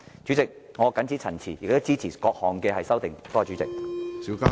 主席，我謹此陳辭，支持各項修正案。